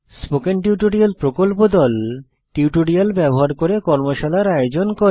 spoken tutorial প্রকল্প দল tutorial ব্যবহার করে কর্মশালার আয়োজন করে